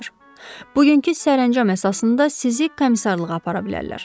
Bugünkü sərəncam əsasında sizi komissarlığa apara bilərlər.